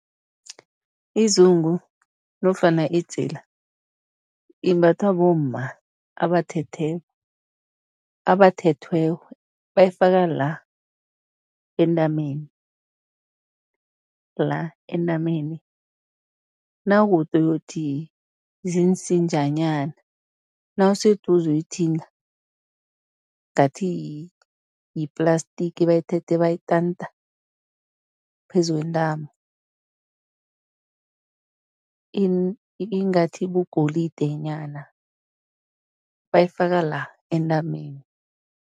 Izungu nofana idzila imbathwa bomma abathethe, abathethweko, bayifaka la entameni, la entameni, nawukude uyokuthi ziinsinjanyana, nawuseduze uyithinta, ngathi yi-plastic, bayithethe bayitanta phezu kwentamo ingathi ibugolidenyana, bayifaka la entameni.